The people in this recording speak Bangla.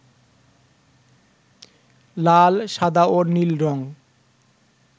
লাল, সাদা ও নীল রং